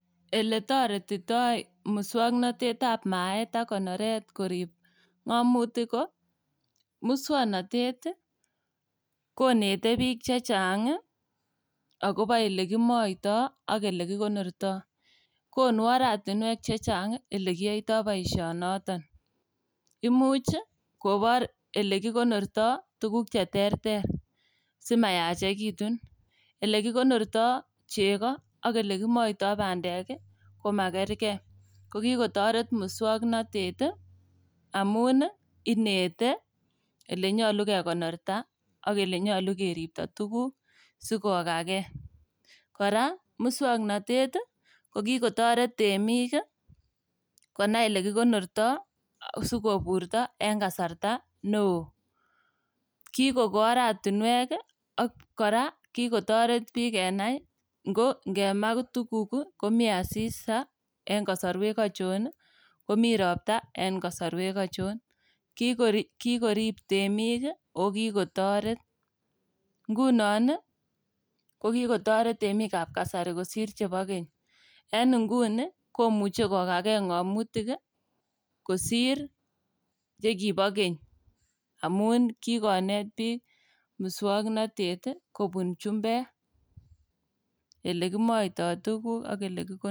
Eletoretito muswoknotetab maet ak konoret korib ng'omutik ko muswoknotet ii konete biiik chechang' ii agobo ilekimoito ak ilekikonorto. Konu oratinwek chechang' ilekiyoito boisionoton, imuch ii kobor ilekikonorto tuguk cheterter simayachekitun. Ilekikonrto chego ak ilekimoito bandek ii komakerkei kokitoret muswoknotet amun ii inete ilenyolu kekonorta ak ilenyoru keripto tuguk sikokagei. Kora muswoknotet kikotoret temik ilekikonorto sikoburto en kasarta neo. Kikoko oratinuek ii ak kora kikotoret biik kenai ko ngema tuguk komi asista en kosoruek ochon komi ropta en kosoruek ochon kikorip temik ii ako kikotoret. Ngunon kokitoret temikab kasari kosir chebo keny. En nguni komuche kokakei ng'omutik ii kosir chekibo keny amun kikonotet biik muswoknotet ii kobun chumbek olekimoito tuguk ak olekikonorto.